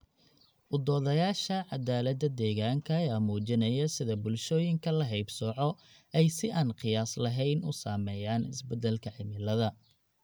U doodayaasha cadaalada deegaanka ayaa muujinaya sida bulshooyinka la haybsooco ay si aan qiyaas lahayn u saameeyaan isbedelka cimilada.